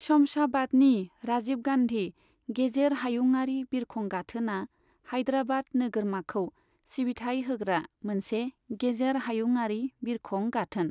शमशाबादनि राजिब गान्धि गेजेर हायुंआरि बिरखं गाथोना हाइद्राबाद नोगोरमाखौ सिबिथाय होग्रा मोनसे गेजेर हायुंआरि बिरखं गाथोन।